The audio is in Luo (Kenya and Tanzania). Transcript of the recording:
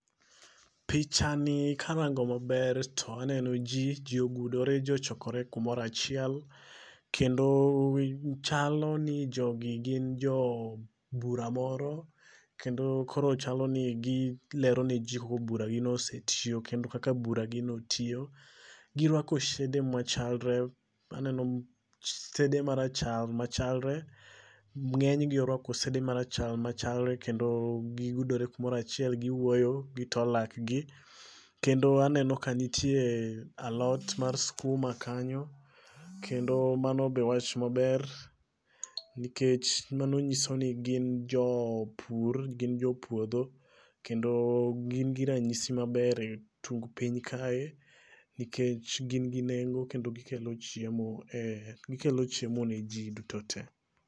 picha ni karango maber to aneno ji, ji ogudore ji ochokore kamoro achiel kendo, chalo ni jogi gin jo bura moro kendo koro chalo ni gilero neji kaka bura gino osetiyo kendo kaka buragino tiyo. Giruako sede machalre, aneno sede marachar machalre, ng'enygi oruako sede marachar machalre kendo giyudore kamoro achiel giwuoyo gitoo laakgi kedno aneno ka nitie alot mar sikuma kanyo kendo mano be wach maber nikech mano nyiso ni gin jopur gin jo puodho kendo gin gi ranyisi maber etung piny kae nikech gin gi nengo kendo gikelo chiemo e gikelo chiemo ni ji duto te.